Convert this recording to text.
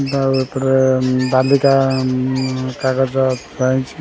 ତା ଉପରେ ବାଲି ଟା କାଗଜ ପାଇଚି।